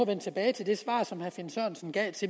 vende tilbage til det svar som herre finn sørensen gav